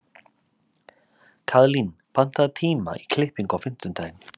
Kaðlín, pantaðu tíma í klippingu á fimmtudaginn.